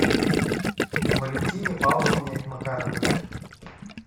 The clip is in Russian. валентине павловне макаровой